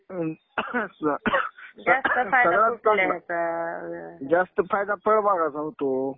ing सगळाच चांगला, जास्त फायदा फळबागाचा होतो.